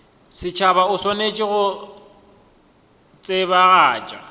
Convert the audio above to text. setšhaba o swanetše go tsebagatša